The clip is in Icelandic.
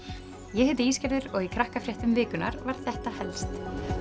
ég heiti og í Krakkafréttum vikunnar var þetta helst